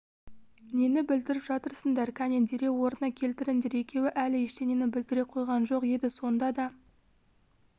нені бүлдіріп жатырсыңдар кәне дереу орнына келтіріңдер екеуі әлі ештеңені бүлдіре қойған жоқ еді сонда да